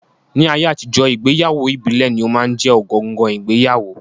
Ní ayé àtijọ́, ìgbéyàwó ìbílẹ̀ ní ó máa ń jẹ́ ọ̀gangan ìgbéyàwó